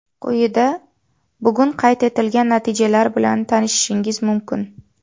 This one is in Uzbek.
Quyida bugun qayd etilgan natijalar bilan tanishishingiz mumkin.